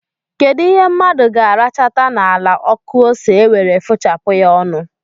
Kedụ ihe mmadụ ga-arachata n'ala ọkụ ose e were fụchapụ ya ọnụ?